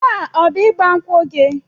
Taa ọ bụ ịgba nkwụ gị?